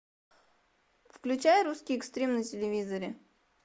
включай русский экстрим на телевизоре